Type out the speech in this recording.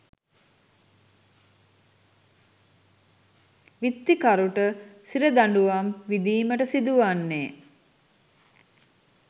විත්තිකරුට සිර දඬුවම් විඳීමට සිදු වන්නේ